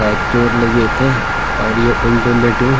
एै चोट लगी येथें और ये उलटू लेट्यूं।